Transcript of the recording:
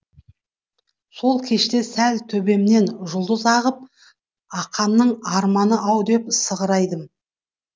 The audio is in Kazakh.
сол кеште сәл төбемнен жұлдыз ағып ақанның арманы ау деп сығырайдым